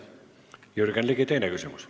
Jürgen Ligi, teine küsimus.